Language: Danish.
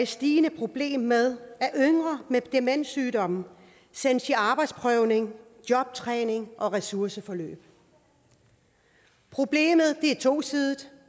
stigende problem med at yngre med demenssygdomme sendes i arbejdsprøvning jobtræning og ressourceforløb problemet er tosidet